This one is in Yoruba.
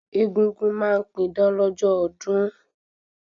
Egúngún ma n pidán lọ́jọ́ ọdún